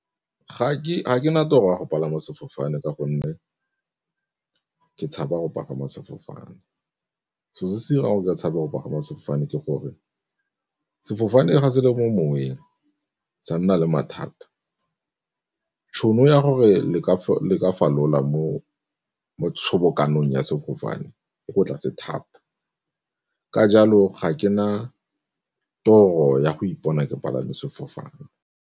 Ga ke na toro ya go palama sefofane ka gonne ke tshaba go pagama sefofane, selo se se dirang go ka tshabe go pagama sefofane ke gore sefofane ga se le mo moweng sa nna le mathata tšhono ya gore le ka falola mo tshobokanong ya sefofane e ko tlase thata. Ka jalo ga ke na toro ya go ipona ke palame sefofane.